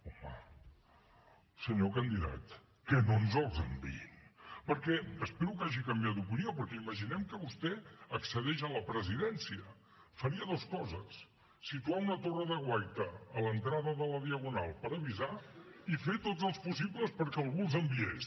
home senyor candidat que no ens els enviïn espero que hagi canviat d’opinió perquè imaginem que vostè accedeix a la presidència faria dues coses situar una torre de guaita a l’entrada de la diagonal per avisar i fer tots els possibles perquè algú els enviés